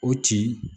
O tin